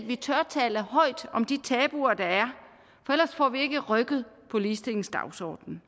vi tør tale højt om de tabuer der er for ellers får vi ikke rykket på ligestillingsdagsordenen